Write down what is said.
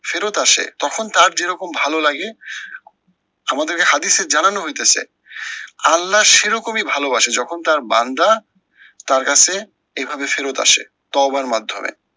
ফেরত আসে তখন তার যেরকম ভালো লাগে, আমাদেরকে হাদিসে জানানো হইতাসে, আল্লাহ সেরকমই ভালোবাসে যখন তার বান্দা, তার কাছে এইভাবে ফেরত আসে তৌবার মাধ্যমে,